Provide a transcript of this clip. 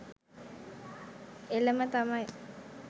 එලම තමයි